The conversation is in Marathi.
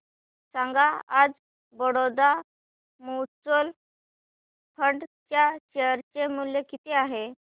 सांगा आज बडोदा म्यूचुअल फंड च्या शेअर चे मूल्य किती आहे